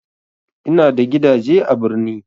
Ina da gidaje a birni